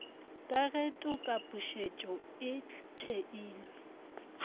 ka ge tokapušetšo e theilwe